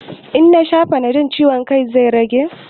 In nasha fanadol ciwon kan zai ragu?